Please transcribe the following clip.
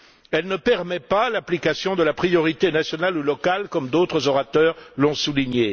Elle ne permet pas l'application de la priorité nationale ou locale comme d'autres orateurs l'ont souligné.